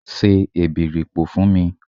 Se èbèripò fún mi!